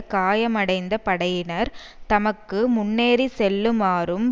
காயமடைந்த படையினர் தமக்கு முன்னேறி செல்லுமாறும்